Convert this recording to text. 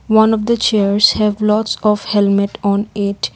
one of the chairs have lots of helmet on it.